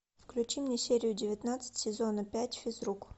включи мне серию девятнадцать сезона пять физрук